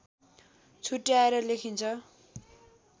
छुट्याएर लेखिन्छ